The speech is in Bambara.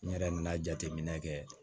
N yɛrɛ nana jateminɛ kɛ